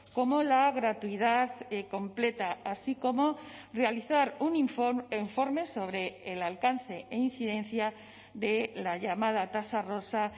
como la gratuidad completa así como realizar un informe sobre el alcance e incidencia de la llamada tasa rosa